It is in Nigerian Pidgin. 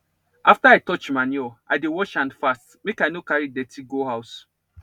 after i touch manure i dey wash hand fast make i no carry dirty go house